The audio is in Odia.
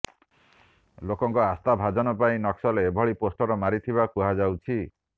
ଲୋକଙ୍କ ଆସ୍ଥା ଭାଜନ ପାଇଁ ନକ୍ସଲ ଏଭଳି ପୋଷ୍ଟର ମାରିଥିବା କୁହାଯାଉଛି